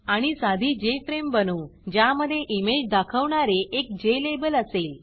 आणि साधी जेएफआरएमई बनवू ज्यामधे इमेज दाखवणारे एक ज्लाबेल असेल